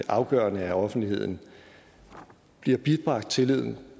afgørende at offentligheden bliver bibragt tillid